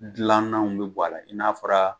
Gilannanw bi bɔ a la i n'a fɔra